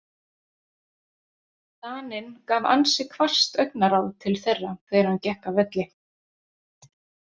Daninn gaf ansi hvasst augnaráð til þeirra þegar hann gekk af velli.